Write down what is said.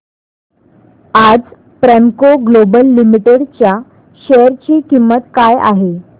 आज Premco Global Limited च्या share ची किंमत काय आहे